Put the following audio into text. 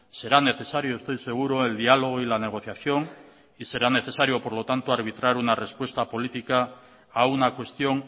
será necesario estoy seguro el diálogo y la negociación y será necesario por lo tanto arbitrar una respuesta política a una cuestión